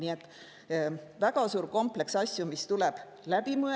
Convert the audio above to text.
Nii et siin on väga suur kompleks asju, mis tuleb läbi mõelda …